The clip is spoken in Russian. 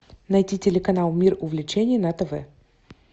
найти телеканал мир увлечений на тв